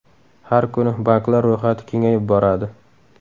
Har kuni banklar ro‘yxati kengayib boradi.